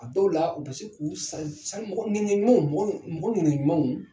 A dɔw la u bi se k'u san ɲaniya ɲumanw don mɔggɔ ɲaniya ɲumanw don.